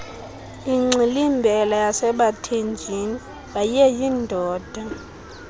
ingxilimbela yasebathenjini wayeyindoda